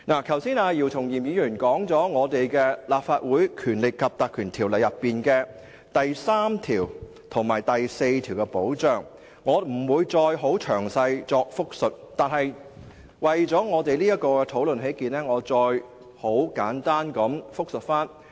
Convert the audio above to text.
剛才姚松炎議員談及《立法會條例》第3及4條的保障，我不再詳細複述，但為了這項討論起見，我再作簡單複述。